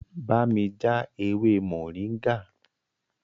Bámi já ewé moringa!